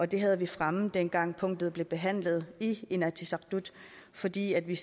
det havde vi fremme dengang punktet blev behandlet i inatsisartut fordi vi